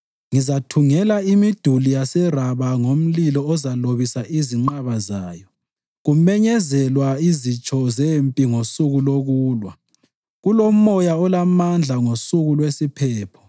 ngizathungela imiduli yaseRaba ngomlilo ozalobisa izinqaba zayo kumenyezelwa izitsho zempi ngosuku lokulwa kulomoya olamandla ngosuku lwesiphepho.